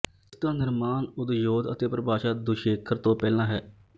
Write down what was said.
ਇਸਦਾ ਨਿਰਮਾਣ ਉਦਯੋਤ ਅਤੇ ਪਰਿਭਾਸ਼ਾ ਦੁਸ਼ੇਖਰ ਤੋਂ ਪਹਿਲਾਂ ਹੈ